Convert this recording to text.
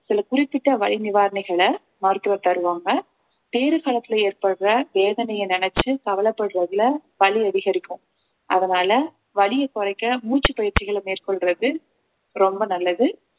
சில குறிப்பிட்ட வலி நிவாரணிகள மருத்துவர் தருவாங்க பேறு களத்துல ஏற்படுற வேதனைய நினைச்சு கவலைப்படுறதுல வலி அதிகரிக்கும் அதனால வலிய குறைக்க மூச்சுப் பயிற்சிகளை மேற்கொள்றது ரொம்ப நல்லது